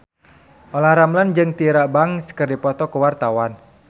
Olla Ramlan jeung Tyra Banks keur dipoto ku wartawan